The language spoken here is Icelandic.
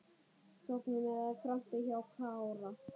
Tognun eða krampi hjá Kára?